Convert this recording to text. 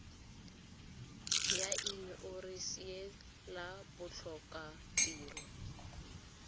la in orense la botlhokatiro